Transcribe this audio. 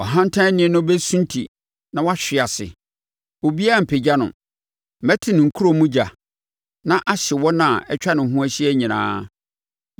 Ɔhantanni no bɛsunti na wahwe ase obiara rempagya no; mɛto ne nkuro mu ogya na ahye wɔn a atwa ne ho ahyia nyinaa.”